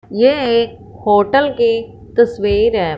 यह एक होटल की तस्वीर है।